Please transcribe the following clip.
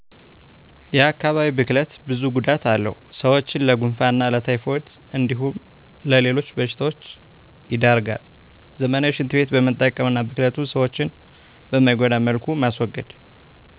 የአካባቢ ብክለት ብዙ ጉዳት አለው ሰዎችን ለጉንፋን እና ለታይፎይድ እንዲሁም ለሌሎች በሺታዎች ይዳርገል ዘመናዊ ሺንት ቤት መጠቀም አና ብክለቱን ሰዎችን በማይጎዳ መልኩ ማስወገድ